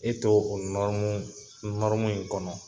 I t'o o in kɔnɔ.